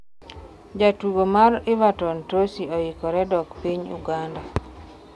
jatugo mar Everton Tosi oikore dok piny Uganda